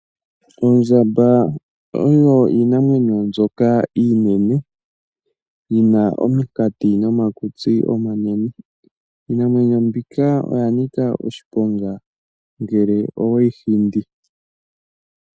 Oondjamba odho iinamwenyo mbyoka iinene yi na ominkati nomakutsi omanene. Iinamwenyo mbika oya nika oshiponga ngele owe yi hindi.